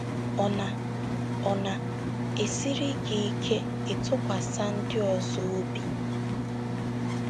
Ọ̀ NA - Ọ̀ NA - ESIRI gị ike ịtụkwasị ndị ọzọ obi?